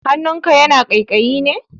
Hannunka yana ƙaiƙayi ne?